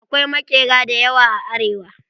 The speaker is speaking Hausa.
Akwai maƙera da yawa a arewa.